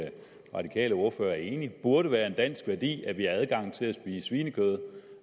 radikale ordfører er enig i burde være en dansk værdi adgang til at spise svinekød